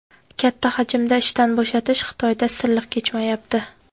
Katta hajmda ishdan bo‘shatish Xitoyda silliq kechmayapti.